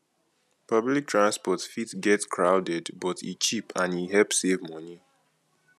public transport fit get crowded but e cheap and e help save money